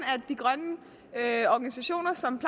at organisationer som